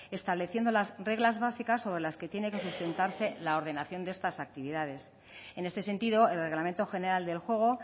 estableciendo las reglas básicas o de las que tiene que sustentarse la ordenación de estas actividades en este sentido el reglamento general del juego